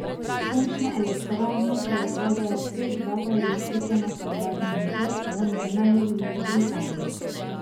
Sončne elektrarne proizvedejo pet vatov elektrike na kvadratni meter, vendar ne v Veliki Britaniji.